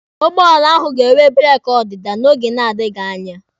Ụgbọala ahụ ga-enwe breeki ọdịda n'oge na-adịghi anya.